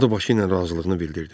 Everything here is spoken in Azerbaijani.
O da başqı ilə razılığını bildirdi.